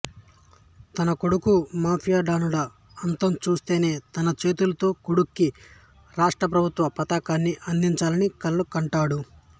తన కొడుకు mafia don ల అంతంచూస్తేతన చేతులతో కొడుకుకి రాష్ట్ర ప్రభుత్వ పతకాన్ని అందించాలని కలలు కంటుంటాడు